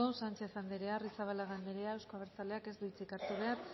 sánchez anderea arrizabalaga anderea euzko abertzaleak ez du hitzik hartu behar